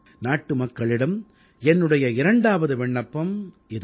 நாட்டுமக்களிடம் என்னுடைய இரண்டாவது விண்ணப்பம் இதோ